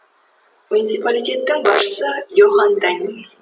муниципалитеттің басшысы йохан даниль